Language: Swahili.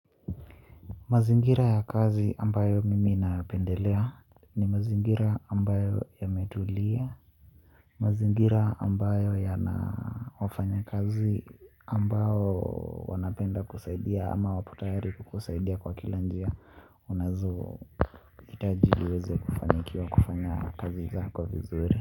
Mazingira ya kazi ambayo mimi napendelea. Ni mazingira ambayo yametulia. Mazingira ambayo yana wafanya kazi ambao wanapenda kusaidia ama wapo tayari kukusaidia kwa kila njia unazo itaji ili uweze kufanikiwa kufanya kazi zako vizuri.